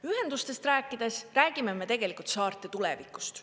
Ühendustest rääkides räägime me tegelikult saarte tulevikust.